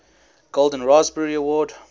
golden raspberry award